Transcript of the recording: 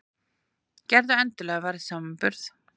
Gerðu endilega verðsamanburð!